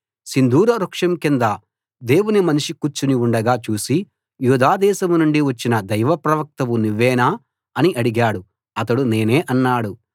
సింధూర వృక్షం కింద దేవుని మనిషి కూర్చుని ఉండగా చూసి యూదాదేశం నుండి వచ్చిన దైవ ప్రవక్తవు నువ్వేనా అని అడిగాడు అతడు నేనే అన్నాడు